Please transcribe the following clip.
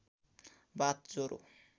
बाथ ज्वरो